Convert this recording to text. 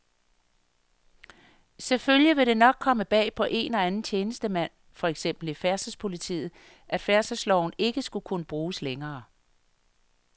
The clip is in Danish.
Selvfølgelig vil det nok komme bag på en og anden tjenestemand, for eksempel i færdselspolitiet, at færdselsloven ikke skulle kunne bruges længere.